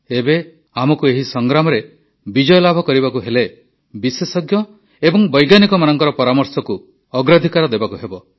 ଏବେ ଆମକୁ ଏହି ସଂଗ୍ରାମରେ ବିଜୟ ଲାଭ କରିବାକୁ ହେଲେ ବିଶେଷଜ୍ଞ ଏବଂ ବୈଜ୍ଞାନିକମାନଙ୍କ ପରାମର୍ଶକୁ ଅଗ୍ରାଧିକାର ଦେବାକୁ ହେବ